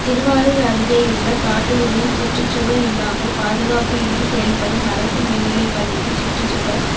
திருவாரூா் அருகேயுள்ள காட்டூரில் சுற்றுச்சுவா் இல்லாமல் பாதுகாப்பு இன்றி செயல்படும் அரசு மேல்நிலைப் பள்ளிக்கு சுற்றுச்சுவா்